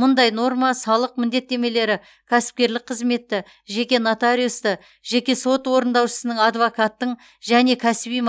мұндай норма салық міндеттемелері кәсіпкерлік қызметті жеке нотариусты жеке сот орындаушысының адвокаттың және кәсіби